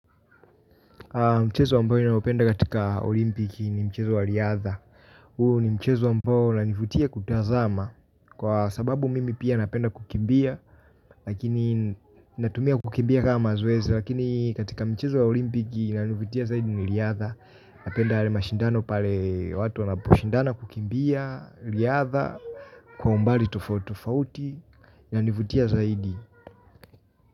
Mchezo ambayo ninayopenda katika olimpiki ni mchezo wa riadha. Huo ni mchezo ambao unanivutia kutazama. Kwa sababu mimi pia napenda kukimbia. Lakini natumia kukimbia kama mazoezi. Lakini katika mchezo wa olimpiki inayonivutia zaidi ni riadha. Napenda yale mashindano pale watu wanaposhindana kukimbia. Riadha. Kwa umbali tofauti tofauti. Inanivutia zaidi.